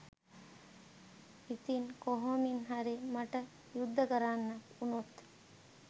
ඉතිං කොහොමින් හරි මට යුද්ධ කරන්න වුනොත්